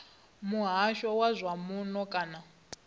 muhasho wa zwa muno kana